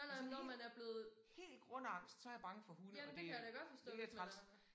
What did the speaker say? Men sådan helt helt grundangst så jeg bange for hunde og det øh mega træls